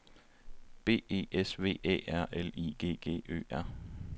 B E S V Æ R L I G G Ø R